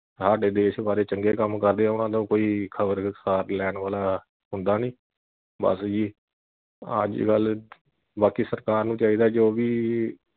ਹਾਡੇ ਦੇਸ਼ ਬਾਰੇ ਚੰਗੇ ਕੰਮ ਕਰਦੇ ਆ ਉਨ੍ਹਾਂ ਦਾ ਕੋਈ ਖਬਰ ਵਿਸਥਾਰ ਲੈਣ ਵਾਲਾ ਹੁੰਦਾ ਨੀ ਬਸ ਜੀ ਅੱਜ ਕੱਲ ਬਾਕੀ ਸਰਕਾਰ ਨੂੰ ਚਾਹੀਦਾ ਆ ਜੋ ਵੀ